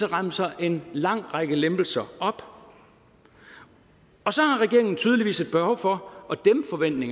remser en lang række lempelser op og så har regeringen tydeligvis et behov for